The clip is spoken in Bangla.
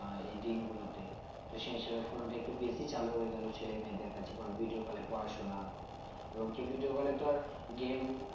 আহ এই দিনগুলোতে তো সেই হিসেবে phone টা একটু বেশি চালু হয়ে গেলো ছেলে মেয়েদের কাছে কারণ video call এ পড়াশোনা এবং কেও video call এ তো আর game